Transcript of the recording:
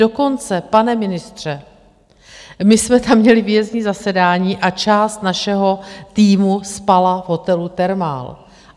Dokonce, pane ministře, my jsme tam měli výjezdní zasedání a část našeho týmu spala v hotelu Thermal.